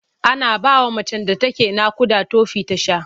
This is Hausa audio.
Ana bawa macen da take naƙuda tofi ta sha.